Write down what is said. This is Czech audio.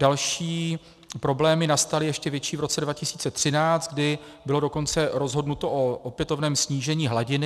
Další problémy nastaly, ještě větší, v roce 2013, kdy bylo dokonce rozhodnuto o opětovném snížení hladiny.